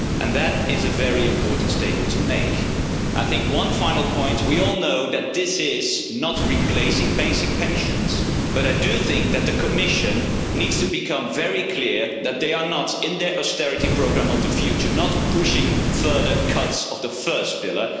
That is a very important statement to make. One final point we all know that this does not replace basic pensions but I do think that the Commission needs to become very clear that they are not, in their austerity programme of the future, pushing further cuts of the first pillar.